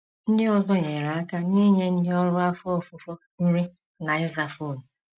Ndị ọzọ nyere aka n’inye ndị ọrụ afọ ofufo nri na ịza fon.